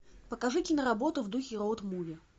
покажи киноработу в духе роуд муви